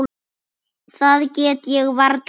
Það get ég varla meint.